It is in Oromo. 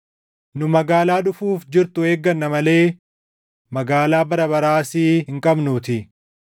Nu magaalaa dhufuuf jirtu eegganna malee magaalaa bara baraa asii hin qabnuutii.